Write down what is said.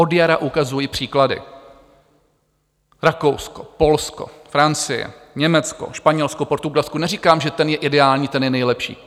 Od jara ukazuji příklady: Rakousko, Polsko, Francie, Německo, Španělsko, Portugalsko - neříkám, že ten je ideální, ten je nejlepší.